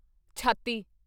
ਛਾਤੀ